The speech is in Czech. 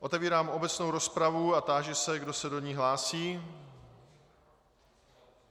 Otevírám obecnou rozpravu a táži se, kdo se do ní hlásí.